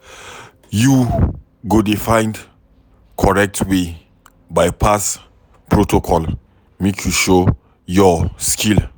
You go dey find correct way by-pass protocol make you show your skill